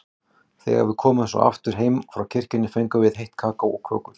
Þegar við komum svo aftur heim frá kirkju fengum við heitt kakó og kökur.